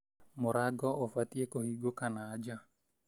Mũrango ũbatiĩ kũhingũkaga na nja.